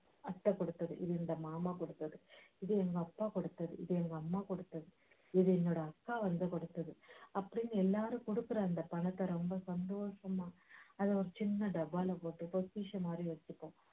அத்தை கொடுத்தது இது இந்த மாமா கொடுத்தது இது எங்க அப்பா கொடுத்தது இது எங்க அம்மா கொடுத்தது இது என்னோட அக்கா வந்து கொடுத்தது அப்படீன்னு எல்லாரும் கொடுக்குற அந்தப் பணத்தை ரொம்ப சந்தோஷமா அதை ஒரு சின்ன டப்பால போட்டு பொக்கிஷமாதிரி வச்சிப்போம்